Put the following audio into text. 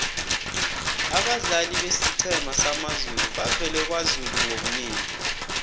abadlali besiqhema samazulu bavela kwazulu ngobunengi